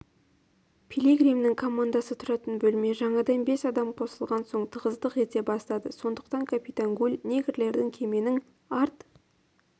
пилигримнің командасы тұратын бөлме жаңадан бес адам қосылған соң тығыздық ете бастады сондықтан капитан гуль негрлерді кеменің арт